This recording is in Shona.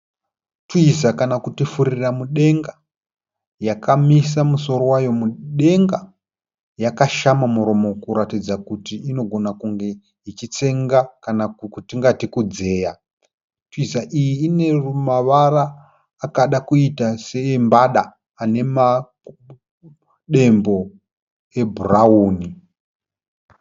Twiza kana kuti furira mudenga yakamisa musoro wayo mudenga. Yakashama muromo kuratidza kuti inogona kunge ichitsenga kana kwatingati kudzeya. Twiza iyi ine mavara akada kuita seembada anemadembo e bhurauni.